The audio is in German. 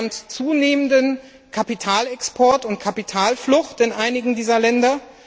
Wir haben zunehmenden Kapitalexport und Kapitalflucht in einigen dieser Länder.